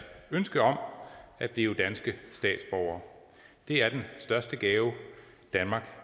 ønske om at blive danske statsborgere det er den største gave danmark